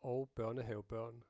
og børnehavebørn